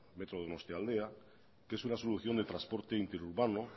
metro donostialdea que es una solución de transporte interurbano